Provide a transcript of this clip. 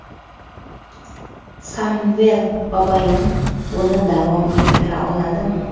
Samvel Babayan buni davom ettira oladimi?.